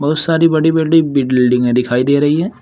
बहुत सारी बड़ी बड़ी बिल्डिंगे दिखाई दे रही हैं।